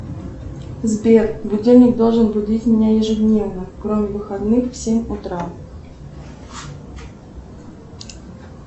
сбер будильник должен будить меня ежедневно кроме выходных в семь утра